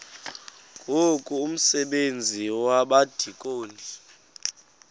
ngoku umsebenzi wabadikoni